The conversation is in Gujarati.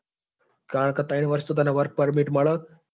કારણ કે ત્રણ વર્ષ તો તને work permit મળે.